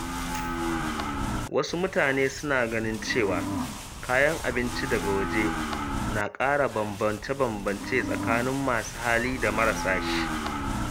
Wasu mutane suna ganin cewa kayan abinci daga waje na ƙara bambance-bambance tsakanin masu hali da marasa shi.